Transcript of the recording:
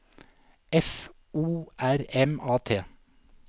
F O R M A T